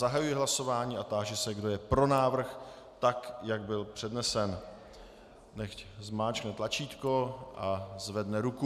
Zahajuji hlasování a táži se, kdo je pro návrh tak, jak byl přednesen, nechť zmáčkne tlačítko a zvedne ruku.